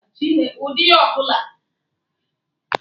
Ahụchaa ọkwa lietenanti jenaralụ, ọkwa ọzọ bụ majọ jenaralụ.